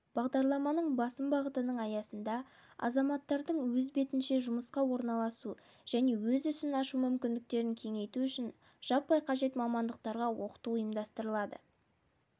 бағдарламаның басым бағытының аясында азаматтардың өз бетінше жұмысқа орналасу және өз ісін ашу мүмкіндіктерін кеңейту үшін жаппай қажет мамандықтарға оқыту ұйымдастырылады